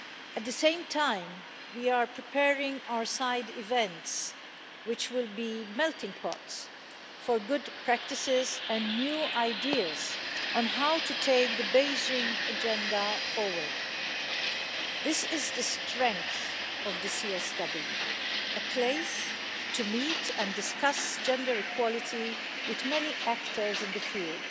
At the same time, we are preparing our side events, which will be melting-pots for good practices and new ideas on how to take the Beijing Agenda forward. This is the strength of the CSW a place to meet and discuss gender equality which many actors in the field.